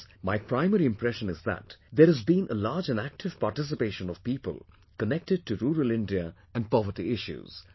Thus, my primary impression is that there has been a large and active participation of people connected to rural India and poverty issues